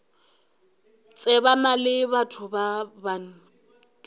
tsebana le batho ba bant